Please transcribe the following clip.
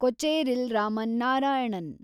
Kocheril Raman Narayanan